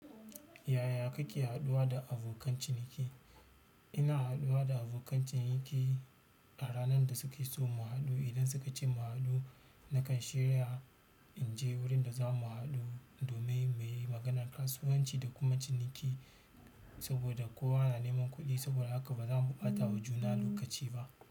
Yaya kake haɗuwa da abokan ciniki? Ina haɗuwa da abokan ciniki a ranar da suke so mu haɗu. Idan suka ce mu haɗu, na kan shirya in je wurin da za mu haɗu domin muyi maganar kasuwanci da kuma ciniki. Saboda kowa na neman kuɗi, saboda haka ba za mu ɓatawa juna lokaci ba.